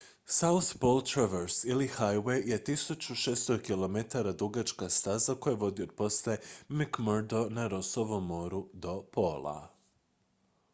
south pole traverse ili highway je 1600 km dugačka staza koja vodi od postaje mcmurdo na rossovom moru do pola